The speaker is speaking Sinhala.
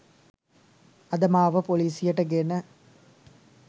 අද මාව පොලිසියට ගෙන